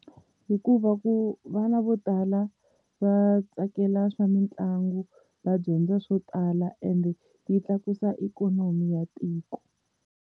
Hikuva ku vana vo tala va tsakela swa mitlangu va dyondza swo tala ende yi tlakusa ikhonomi ya tiko.